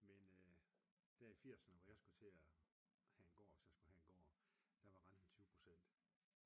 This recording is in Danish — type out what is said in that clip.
Men der i firserne hvor jeg skulle til at have en gård hvis jeg skulle have en gård der var renten 20%